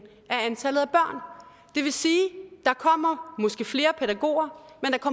af antallet af at der kommer måske flere pædagoger